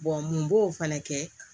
mun b'o fana kɛ